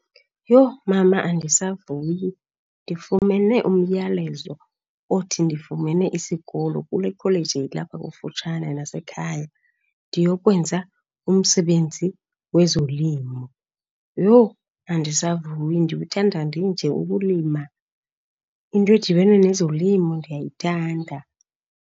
Yho, mama andisavuyi. Ndifumene umyalezo othi ndifumene isikolo kule kholeji ilapha kufutshane nasekhaya ndiyokwenza umsebenzi wezolimo. Yho, andisavuyi, ndikuthanda ndinje ukulima. Into edibene nezolimo ndiyayithanda.